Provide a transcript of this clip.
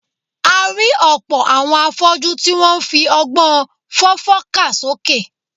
A rí ọ̀pọ̀ àwọn afọ́jú tí wọ́n ń fi ọgbọ́n fọ́fọ́ kà sókè